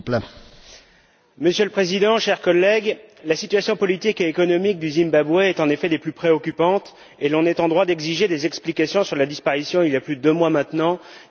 Monsieur le Président, chers collègues, la situation politique et économique du Zimbabwe est en effet des plus préoccupantes, et l'on est en droit d'exiger des explications sur la disparition, il y a plus de deux mois maintenant, d'Itai Dzamara.